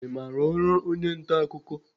I maara ọrụ onye nta akụkọ?